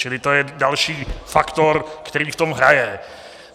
Čili to je další faktor, který v tom hraje.